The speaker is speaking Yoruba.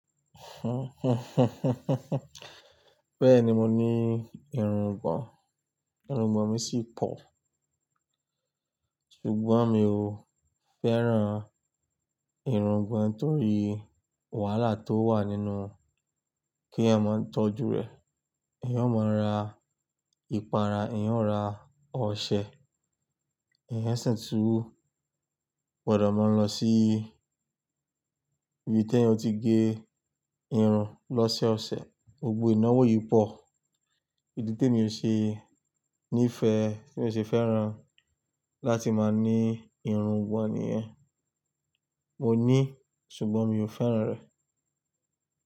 Bẹ́ẹ̀ni mo ní irungbọ̀n, irungbọ̀n mi sì pọ̀, ṣùgbọ́n mi ò fẹ́ràn irungbọ̀n nítorí wàhálà tó wà nínú kí ẹ máa ń tọ́jú rè, èyàn ó máa ra ìpara, èyàn ó ra ọṣẹ, èyàn sì túú gbọ́dọ̀ máa ń lọ sí ibi tí ẹ́ ti gé irun lọ́sẹ̀ ọ̀sẹ̀, gbogbo ìnáwó yìí pọ̀. Ìdí temi ò ṣe ní ìfẹ́, tí mi ò ṣe fẹ́ràn láti máa ní irungbọ̀n nìyẹn. Mo ní, ṣùgbọ́n mi ò fẹ́ràn rè.